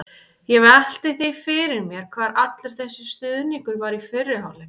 Ég velti því fyrir mér hvar allur þessi stuðningur var í fyrri hálfleik?